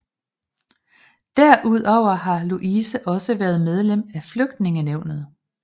Derudover har Louise også været medlem af Flytningenævnet